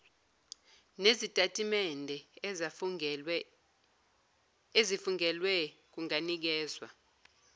nezitatimende ezifungelwe kunganikezwa